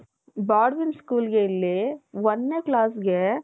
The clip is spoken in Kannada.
ಬಾಲ್ಡ್ವಿನ್ school ಗೆ ಇಲ್ಲಿ ಒಂದನೇ class ಗೆ .